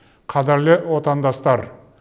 қадірлі отандастар